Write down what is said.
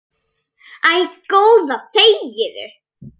Æ, góða þegiðu.